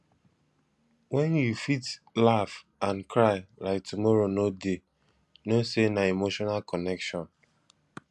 wen you fit laugh and cry like tomorrow no dey know sey na emotional connection